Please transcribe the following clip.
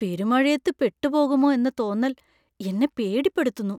പെരുമഴയത്തു പെട്ടുപോകുമോ എന്ന തോന്നൽ എന്നെ പേടിപ്പെടുത്തുന്നു.